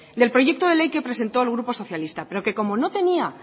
del proyecto de ley que presentó el grupo socialista pero que como no tenía